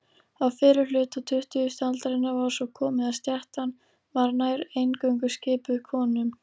Á fyrri hluta tuttugustu aldarinnar var svo komið að stéttin var nær eingöngu skipuð konum.